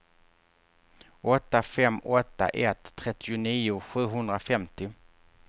åtta fem åtta ett trettionio sjuhundrafemtio